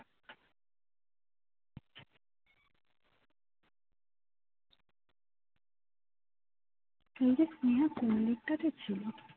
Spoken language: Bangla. সেইদিন প্রিয়া কোন দিক টাতে ছিল